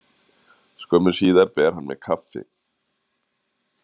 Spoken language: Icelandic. Skömmu síðar ber hann mér kaffi.